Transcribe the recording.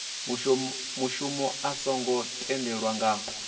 mushumo a songo tendelwa nga